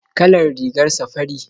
Kalar rigarsa fari